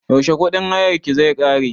Yaushe kuɗin hayarka zai ƙare?